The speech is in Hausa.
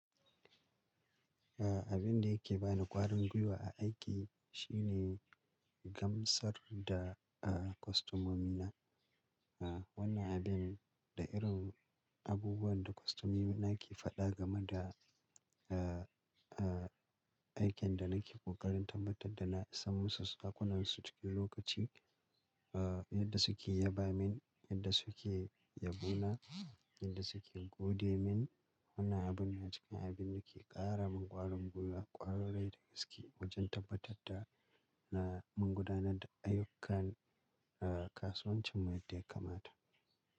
A abin da yake bani ƙwarin gwiwa a aiki shine gamsar da, ah, kwastomomi na. Ah, wannan abin da irin abubuwan da kwastomomi na ke faɗa game da, ah, ah, aikin da nake ƙoƙarin tabbatar da na sanmusu dakunan su cikin lokaci. Ah, yadda suke yaba min, yadda suke yabo na yadda suke gode min. Wannan abun yana cikin abin da ke ƙara min ƙwarin gwiwa ƙwarai da gaske wajen tabbatar da na magudana da ayyukan, ah kasuwancin mu yadda ya kamata.